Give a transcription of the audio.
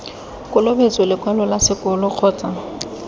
kolobetso lekwalo la sekolo kgotsa